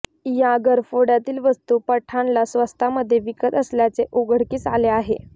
या घरफोड्यातील वस्तू पठाणला स्वस्तामध्ये विकत असल्याचे उघडकीस आले आहे